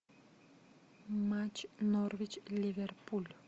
матч норвич ливерпуль